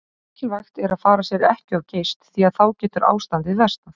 Mikilvægt er að fara sér ekki of geyst því að þá getur ástandið versnað.